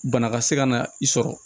Bana ka se ka na i sɔrɔ